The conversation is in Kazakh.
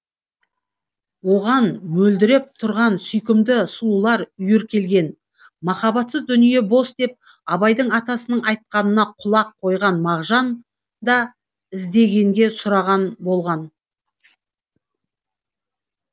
оған мөлдіреп тұрған сүйкімді сұлулар үйір келген махаббатсыз дүние бос деп абайдың атасының айтқанына құлақ қойған мағжан да іздегенге сұраған болған